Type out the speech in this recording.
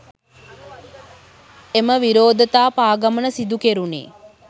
එම විරෝධතා පාගමන සිදු කෙරුණේ